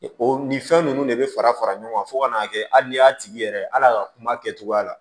O nin fɛn ninnu de bɛ fara fara ɲɔgɔn kan fo kan'a kɛ hali ni y'a tigi yɛrɛ hal'a ka kuma kɛcogoya la